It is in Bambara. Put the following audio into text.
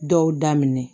Dɔw daminɛ